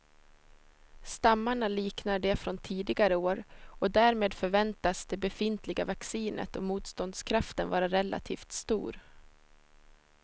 Stammarna liknar de från tidigare år och därmed förväntas det befintliga vaccinet och motståndskraften vara relativt stor.